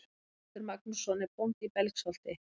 Haraldur Magnússon er bóndi í Belgsholti.